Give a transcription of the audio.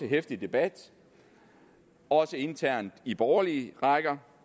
heftig debat også internt i borgerlige rækker